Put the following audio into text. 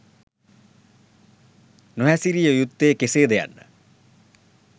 නොහැසිරිය යුත්තේ කෙසේද යන්න